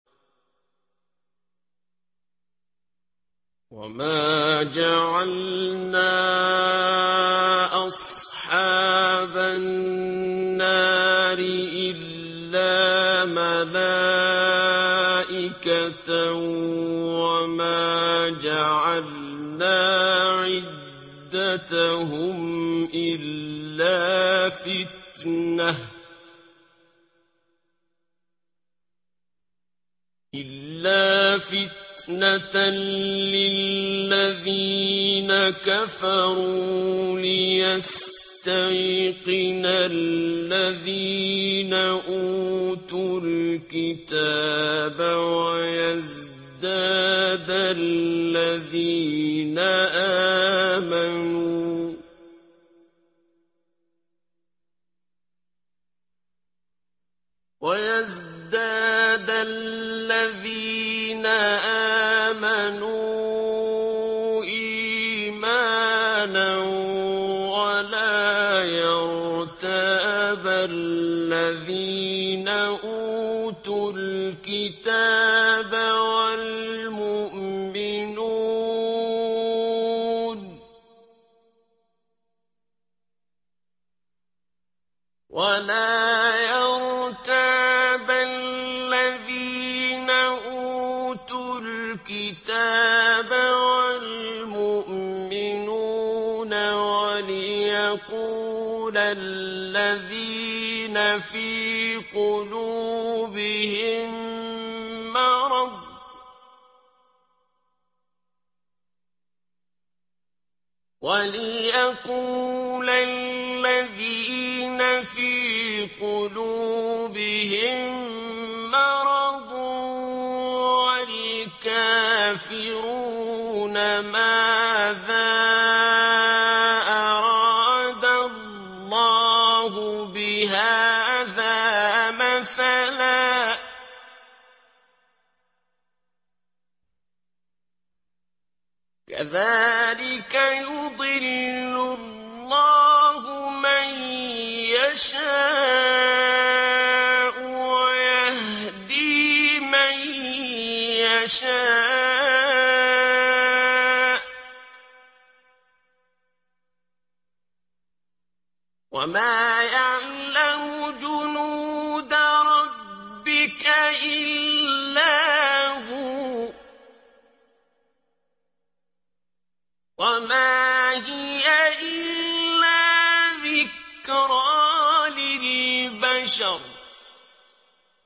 وَمَا جَعَلْنَا أَصْحَابَ النَّارِ إِلَّا مَلَائِكَةً ۙ وَمَا جَعَلْنَا عِدَّتَهُمْ إِلَّا فِتْنَةً لِّلَّذِينَ كَفَرُوا لِيَسْتَيْقِنَ الَّذِينَ أُوتُوا الْكِتَابَ وَيَزْدَادَ الَّذِينَ آمَنُوا إِيمَانًا ۙ وَلَا يَرْتَابَ الَّذِينَ أُوتُوا الْكِتَابَ وَالْمُؤْمِنُونَ ۙ وَلِيَقُولَ الَّذِينَ فِي قُلُوبِهِم مَّرَضٌ وَالْكَافِرُونَ مَاذَا أَرَادَ اللَّهُ بِهَٰذَا مَثَلًا ۚ كَذَٰلِكَ يُضِلُّ اللَّهُ مَن يَشَاءُ وَيَهْدِي مَن يَشَاءُ ۚ وَمَا يَعْلَمُ جُنُودَ رَبِّكَ إِلَّا هُوَ ۚ وَمَا هِيَ إِلَّا ذِكْرَىٰ لِلْبَشَرِ